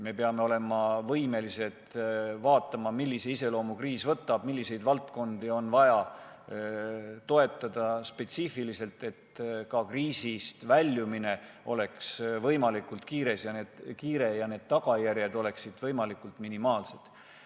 Me peame olema võimelised vaatama, milliseks kujuneb kriisi iseloom ja milliseid valdkondi on täpsemalt vaja toetada, et kriisist väljumine oleks võimalikult kiire ja tagajärjed võimalikult minimaalsed.